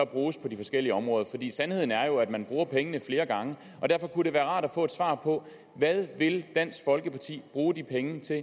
bruges på de forskellige områder sandheden er jo at man bruger pengene flere gange derfor kunne det være rart at få svar på hvad vil dansk folkeparti bruge de penge til